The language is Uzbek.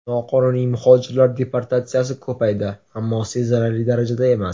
Noqonuniy muhojirlar deportatsiyasi ko‘paydi, ammo sezilarli darajada emas.